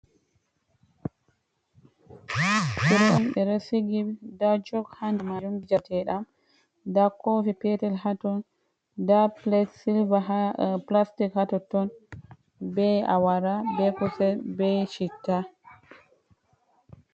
ɓe ɗo sigi, nɗa jog ha nɗa majuj teɗam. Nɗa kofi petel ha ton. Nɗa silva pulastik ha totton. Ɓe awara, ɓe kusel, ɓe chitta.